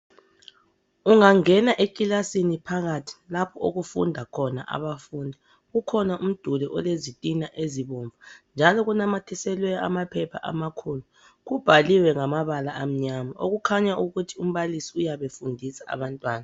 Ungangena ekilasini phakathi lapho okufunda khona abafundi kukhona umduli olezitina ezibomvu njalo kunamathiselwe amaphepha amakhulu. Kubhaliwe ngamabala akhanya ukuthi umbalisi uyabe efundisa abantwana.